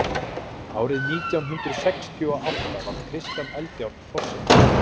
árið nítján hundrað sextíu og átta varð kristján eldjárn forseti